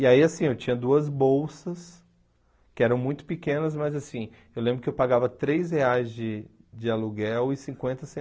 E aí, assim, eu tinha duas bolsas, que eram muito pequenas, mas, assim, eu lembro que eu pagava três reais de de aluguel e cinquenta